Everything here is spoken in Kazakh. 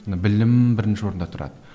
білім бірінші орында тұрады